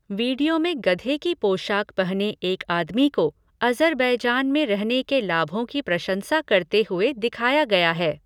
Video में गधे की पोशाक पहने एक आदमी को अज़रबैजान में रहने के लाभों की प्रशंसा करते हुए दिखाया गया है।